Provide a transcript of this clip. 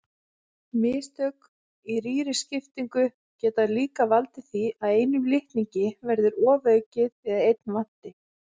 Mistök í rýriskiptingu geta líka valdið því að einum litningi verði ofaukið eða einn vanti.